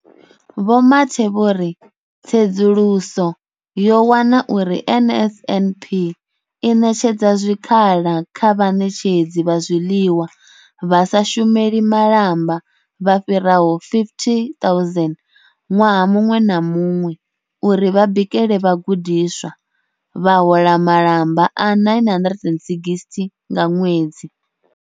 Vho Mathe vho ri, Tsedzuluso yo wana uri NSNP i ṋetshedza zwikhala kha vhaṋetshedzi vha zwiḽiwa vha sa shumeli malamba vha fhiraho 50 000 ṅwaha muṅwe na muṅwe uri vha bikele vhagudiswa, vha hola malamba a R960 nga ṅwedzi.